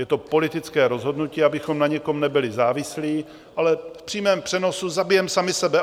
Je to politické rozhodnutí, abychom na někom nebyli závislí, ale v přímém přenosu zabijeme sami sebe.